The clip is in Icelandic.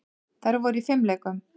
Þær voru í fimleikum.